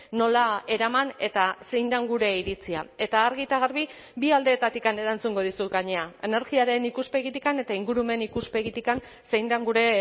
nola eraman eta zein den gure iritzia eta argi eta garbi bi aldeetatik erantzungo dizut gainera energiaren ikuspegitik eta ingurumen ikuspegitik zein den gure